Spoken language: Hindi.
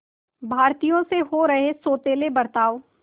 भारतीयों से हो रहे सौतेले बर्ताव